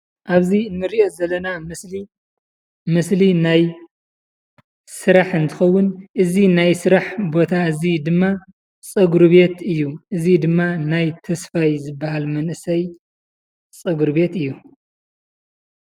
ኣብዚ እንሪኦ ዘላና ምስሊ ምስሊ ናይ ስራሕ እንትኸውን እዚ ናይ ስራሕ ቦታ እዙይ ድማ ፀጉሪ ቤት እዩ። እዚ ድማ ናይ ተስፋይ ዝበሃል መንእሰይ ፀጉሪ ቤት እዩ።